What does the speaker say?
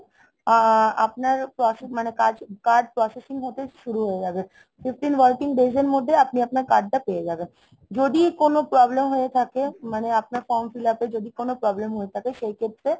আহ আপনার processing~ মানে কাজ card processing হতে শুরু হয়ে যাবে। fifteen working days এর মধ্যে আপনি আপনার card টা পেয়ে যাবেন। যদি কোনো problem হয়ে থাকে মানে আপনার form fill up এ যদি কোনো problem হয়ে থাকে সেই ক্ষেত্র!